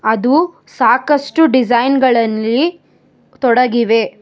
ಅದು ಸಾಕಷ್ಟು ಡಿಸೈನ್ ಗಳಲ್ಲಿ ತೊಡಗಿವೆ.